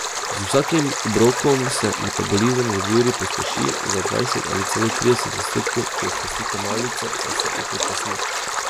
Z vsakim obrokom se metabolizem za dve uri pospeši za dvajset ali celo trideset odstotkov, če izpustite malico, pa se upočasni.